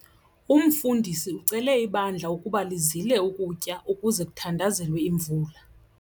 Umfundisi ucele ibandla ukuba lizile ukutya ukuze kuthandazelwe imvula.